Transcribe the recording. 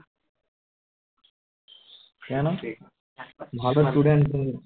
কেন ভালো স্টুডেন্ট তুমি